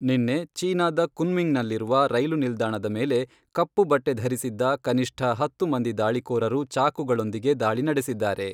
ನಿನ್ನೆ ಚೀನಾದ ಕುನ್ಮಿಂಗ್ನಲ್ಲಿರುವ ರೈಲು ನಿಲ್ದಾಣದ ಮೇಲೆ ಕಪ್ಪು ಬಟ್ಟೆ ಧರಿಸಿದ್ದ ಕನಿಷ್ಠ ಹತ್ತು ಮಂದಿ ದಾಳಿಕೋರರು ಚಾಕುಗಳೊಂದಿಗೆ ದಾಳಿ ನಡೆಸಿದ್ದಾರೆ.